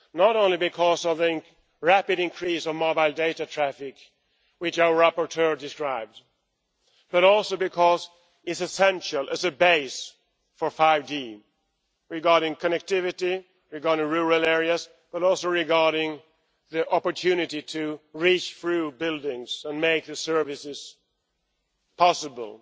Not only because of the rapid increase in mobile data traffic, which our rapporteur described, but also because it is essential as a base for 5G regarding connectivity, regarding rural areas but also regarding the opportunity to reach through buildings and make the services possible